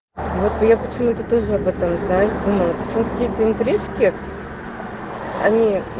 вот я так смотрю ты тоже об этом знаешь думаю причём какие то интрижки они